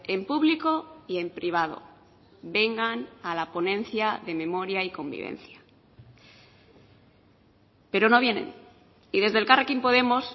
en público y en privado vengan a la ponencia de memoria y convivencia pero no vienen y desde elkarrekin podemos